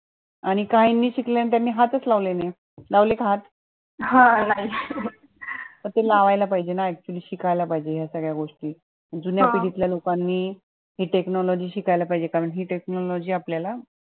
आणि काहींनी शिकली त्यांनी हात च लावले नई लावलेत हात म ते लावायला पाहिजे ना actually शिकायला पाहिजे या सगळ्या गोष्टी जुन्या पिढी त ल्या लोकांनी हि technology शिकायला पाहिजे कारण हि technology आपल्याला